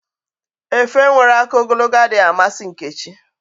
Efe nwere aka ogologo adịghị amasi Nkechi.